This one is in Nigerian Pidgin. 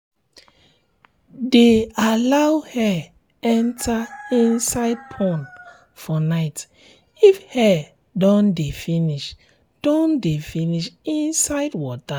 de allow air enter inside pond for night if air don de finish don de finish inside water